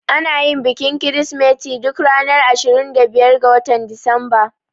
Anayin bikin kirismeti duk ranar 25 ga watan Disamba